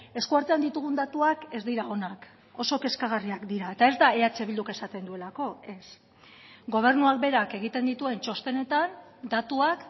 eskuartean ditugun datuak ez dira onak oso kezkagarriak dira eta ez da eh bilduk esaten duelako ez gobernuak berak egiten dituen txostenetan datuak